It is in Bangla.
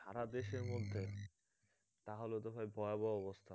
সারা দেশের মধ্যে? তাহলেতো ভাই ভয়াবহ অবস্থা